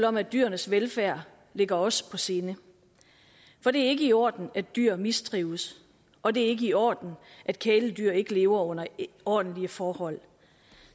om at dyrenes velfærd ligger os på sinde for det er ikke i orden at dyr mistrives og det er ikke i orden at kæledyr ikke lever under ordentlige forhold